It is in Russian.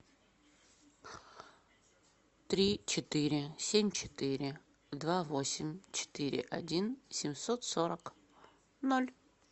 три четыре семь четыре два восемь четыре один семьсот сорок ноль